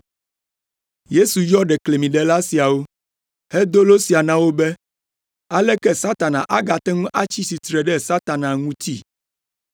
Yesu yɔ ɖeklemiɖela siawo, hedo lo sia na wo be, “Aleke Satana agate ŋu atsi tsitre ɖe Satana ŋuti?